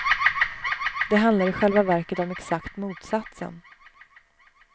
Det handlar i själva verket om exakt motsatsen.